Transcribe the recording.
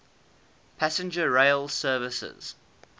passenger rail services